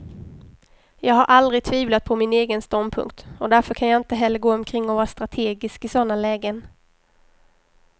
Jag har aldrig tvivlat på min egen ståndpunkt, och därför kan jag inte heller gå omkring och vara strategisk i sådana lägen.